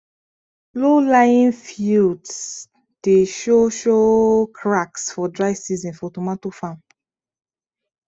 lowlying fields dey show show cracks for dry season for tomato farm